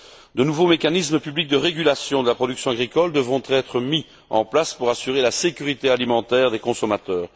De nouveaux mécanismes publics de régulation de la production agricole devront être mis en place pour assurer la sécurité alimentaire des consommateurs.